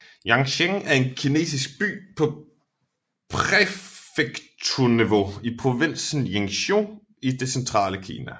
Yancheng er en kinesisk by på præfekturniveau i provinsen Jiangsu i det centrale Kina